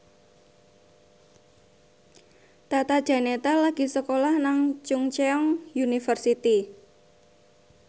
Tata Janeta lagi sekolah nang Chungceong University